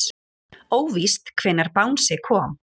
Óvíst hvenær bangsi kom